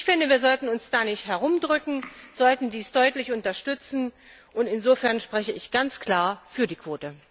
Ich finde, wir sollten uns da nicht herumdrücken, wir sollten dies deutlich unterstützen und daher spreche ich mich ganz klar für die Quote aus.